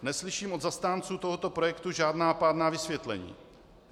Neslyším od zastánců tohoto projektu žádná pádná vysvětlení.